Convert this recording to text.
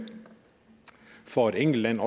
for et enkelt land